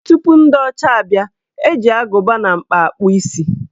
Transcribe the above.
Tupu ndị ọcha abịa, eji agụba na mkpa akpụ isi.